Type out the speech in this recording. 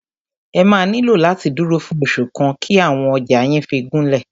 Ẹ máà nílò láti dúró fún oṣù kan kí àwọn ọjà yín fí gúnlẹ̀.